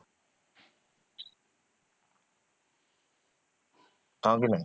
ହଁ କି ନାହିଁ?